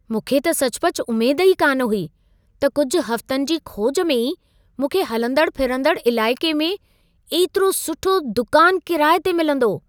मूंखे त सचुपचु उमेद ई कान हुई, त कुझु हफ़्तनि जी खोज में ई मूंखे हलंदड़ फिरंदड़ इलाइक़े में एतिरो सुठो दुकान किराए ते मिलंदो।